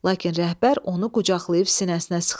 Lakin rəhbər onu qucaqlayıb sinəsinə sıxdı.